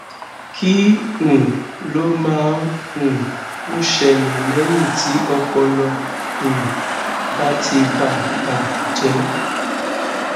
kí um ló máa um ń ṣẹlè léyìn tí ọpọlọ um bá ti bà bà jé